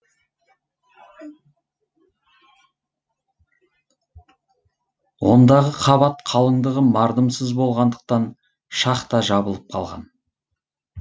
ондағы қабат қалыңдығы мардымсыз болғандықтан шахта жабылып қалған